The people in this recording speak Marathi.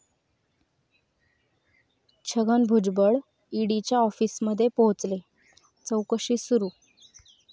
छगन भुजबळ ईडीच्या आॅफिसमध्ये पोहचले, चाैकशी सुरू